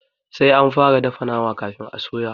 Sai anfara dafa nama kafin a soya.